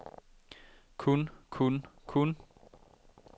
kun kun kun